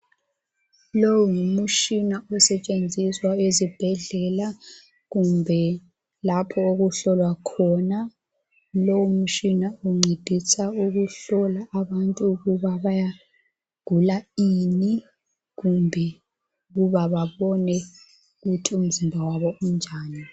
Lo ngumtshina osenziswa ezibhedlela kumbe lapho okuhlolwa khona lowu mutshina uncedisa ukuhlolwa abantu kuba bagula ini kumbe ukuba babone ukuthi umzimba wabo unjani